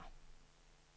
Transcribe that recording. kør